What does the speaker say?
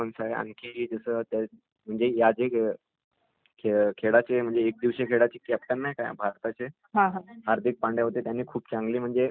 आणखी .....................जे म्हणजे आता आपले जे वल्ड कप असतात त्याचे असे नेहमी कॅप्टन असतात ...जसे आता रोहित शर्मा होते..